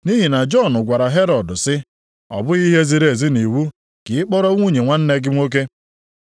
Nʼihi na Jọn gwara Herọd sị, “Ọ bụghị ihe ziri ezi nʼiwu ka ị kpọrọ nwunye nwanne gị nwoke.”